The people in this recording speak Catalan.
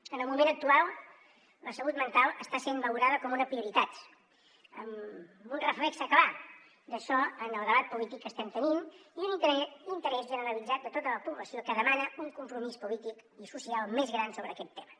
en el moment actual la salut mental està sent valorada com una prioritat amb un reflex clar d’això en el debat polític que estem tenint i un interès generalitzat de tota la població que demana un compromís polític i social més gran sobre aquest tema